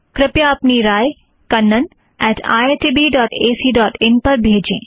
कृपया अपनी राय Kannan at IIT B dot AC dot in kannaniitbacin पर भेजें